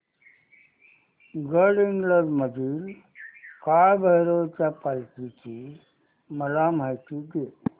गडहिंग्लज मधील काळभैरवाच्या पालखीची मला माहिती दे